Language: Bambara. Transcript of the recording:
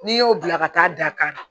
N'i y'o bila ka taa da ka na